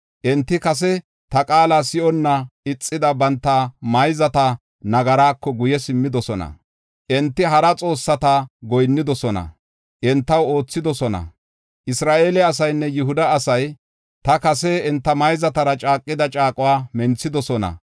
Enti kase ta qaala si7onna ixida banta mayzata nagarako guye simmidosona. Enti hara xoossata goyinnidosona; entaw oothidosona. Isra7eele asaynne Yihuda asay ta kase enta mayzatara caaqida caaquwa menthidosona.